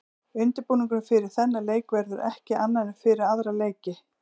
Undirbúningurinn fyrir þennan leik verður ekki annar en fyrir aðra leiki.